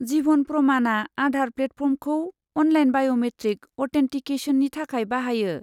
जिभन प्रमाना आधार प्लेटफर्मखौ online biometric अ'थेनटिकेसननि थाखाय बाहायो।